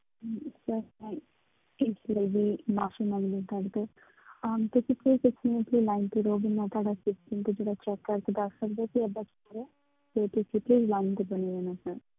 ਇਸ ਲਈ ਵੀ ਮਾਫ਼ੀ ਮੰਗਦੀ ਹਾਂ ਤੁਹਾਡੇ ਤੋਂ ਅਹ ਤੁਸੀਂ please ਇੱਕ ਮਿੰਟ ਲਈ line ਤੇ ਰਹੋਂਗੇ, ਮੈਂ ਤੁਹਾਡਾ system ਤੇ ਜਿਹੜਾ check ਕਰਕੇ ਦੱਸ ਸਕਦੀ ਹਾਂ ਕਿ ਏਦਾਂ ਕਿਉਂ ਹੋ ਰਿਹਾ ਹੈ ਤੇ ਤੁਸੀਂ line ਤੇ ਬਣੇ ਰਹਿਣਾ sir